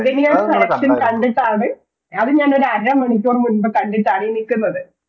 മാഗ്നിയാർ കടക്ക്ഷൻ കണ്ടിട്ടാണ് അത് ഞാനൊരു അരമണിക്കൂർ മുൻപ് കണ്ടിട്ടാണ് ഈ നിക്കുന്നത്